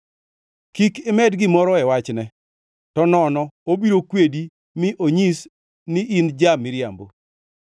Kik imed gimoro e wachne, to nono obiro kwedi mi onyis ni in ja-miriambo.